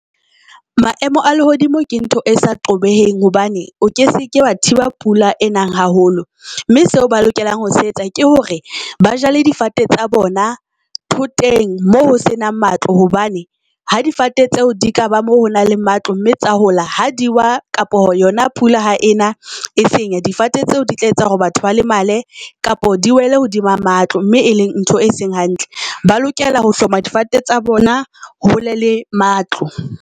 Maemo a lehodimo ke ntho e sa qobeheng hobane o ke seke wa thiba pula e nang haholo mme seo ba lokelang ho se etsa ke hore ba jale difate tsa bona thoteng moo ho se nang matlo hobane ha difate tseo di ka ba mo ho nang le matlo, mme tsa hola ha di wa kapo yona pula ha ena e senya difate tseo di tla etsa hore batho ba lemale kapa di wele hodima matlo, mme e leng ntho e seng hantle. Ba lokela ho hloma difate tsa bona, hole le matlo.